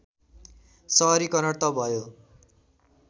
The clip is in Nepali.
सहरीकरण त भयो